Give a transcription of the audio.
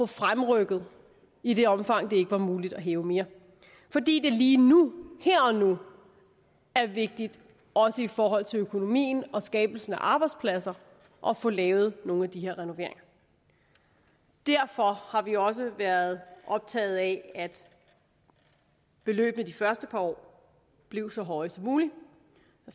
fremrykket i det omfang det ikke var muligt at hæve mere fordi det lige her og nu er vigtigt også i forhold til økonomien og skabelsen af arbejdspladser at få lavet nogle af de her renoveringer derfor har vi også været optaget af at beløbene de første par år blev så høje som muligt